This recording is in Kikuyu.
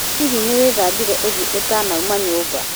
Hihi nĩwĩthambire ũthiũũtanauma nyũmba?